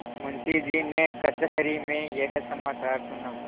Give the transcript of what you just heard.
मुंशीजी ने कचहरी में यह समाचार सुना